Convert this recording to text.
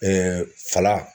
fala